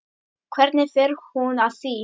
Hvernig fer hún að því?